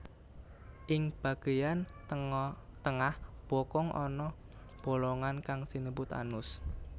Ing bageyan tengah bokong ana bolongan kang sinebut anus